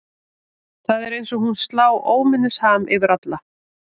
Það er eins og hún slá óminnisham yfir alla.